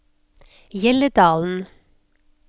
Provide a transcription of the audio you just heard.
Hjelledalen